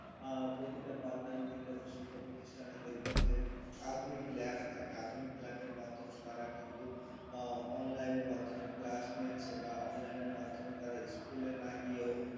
আহ প্রতিটা part দান কেন্দ্রে বা শিক্ষা প্রতিষ্ঠানে দেখবেন যে আধুনিক lab থাকে আধুনিক lab এর মাধ্যমে তারা কিন্তু online এর মাধ্যমে class নিচ্ছে বা online এর মাধ্যমে তারা school না গিয়েও